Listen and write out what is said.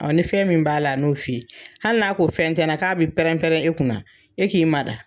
ni fɛn min b'a la, a n'o f'i ye, hali n'a ko fɛn tɛ n na, k'a bi pɛrɛn-pɛrɛn i kunna na, e k'i ma da.